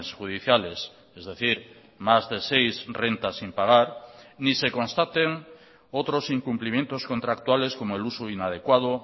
judiciales es decir más de seis rentas sin pagar ni se constaten otros incumplimientos contractuales como el uso inadecuado